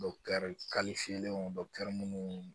minnu